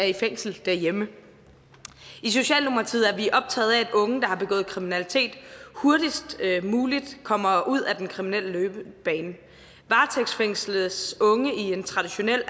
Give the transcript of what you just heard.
i fængsel derhjemme i socialdemokratiet er vi optaget af at unge der har begået kriminalitet hurtigst muligt kommer ud af den kriminelle løbebane varetægtsfængsles unge i en traditionel